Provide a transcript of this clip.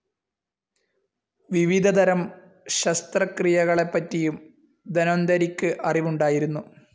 വിവിധതരം ശസ്ത്രക്രിയകളെപ്പറ്റിയും ധന്വന്തരിക്ക് അറിവുണ്ടായിരുന്നു.